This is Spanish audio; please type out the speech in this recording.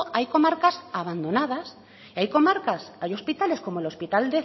hay comarcas abandonadas y hay comarcas hay hospitales como el hospital